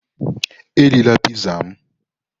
Erila Piizaa m!